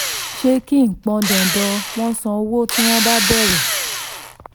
ṣẹ́ẹ́kì kì í pọn dandan wọ́n san owó tí wọ́n bá béèrè.